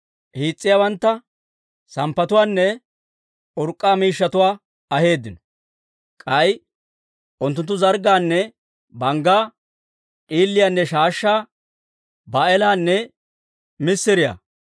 hiis's'iyaawantta, samppatuwaanne urk'k'a miishshatuwaa aheeddino. K'ay unttunttu zarggaanne banggaa, d'iiliyaanne shaashshaa, baa'eelaanne missiriyaa,